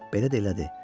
Belə də elədi.